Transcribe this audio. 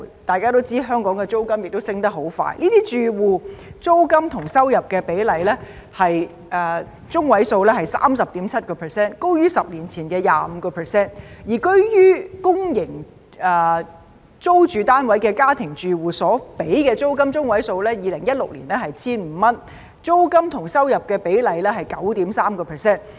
大家都知道香港的租金上升得很快，這些住戶的租金與收入比例中位數為 30.7%， 高於10年前的 25%； 而居於公營租住單位的家庭住戶所支付的租金中位數，在2016年為 1,500 元，租金與收入比例中位數為 9.3%。